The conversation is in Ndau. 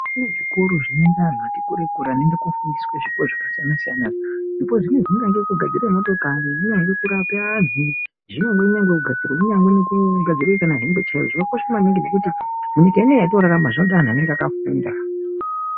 Kune zvikoro zvinoenda anhu ati kure kure anoende kofundiswe zvipo zvakasiyana siyana zvipo zvinezvi zvingange kugadzire motokari zvingange kurape anhu zvinyagwe nekugadzire kana hembe chaidzo zvakakosha maningi ngekuti nyika inei yatinorarama zvinoda anhu anenge akafunda.